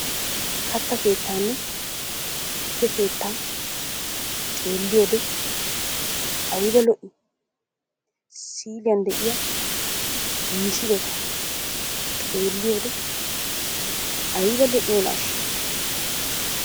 kaatta kettaanne tuukke keettaa xeelliyoode aybba lo"ii? siilyaan de'iyaa misiletta xelliyoode ayba lo"iyoonaasha.